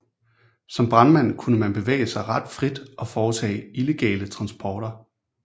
Som brandmand kunne han bevæge sig ret frit og foretage illegale transporter